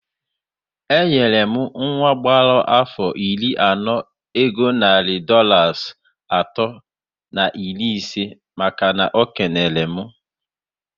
Enyere m nwa gbàrà afọ iri ọnụ ego narị Dọlas atọ na iri isé màkà na o kelere m